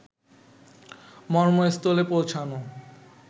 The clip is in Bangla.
মর্মস্থলে পৌঁছানো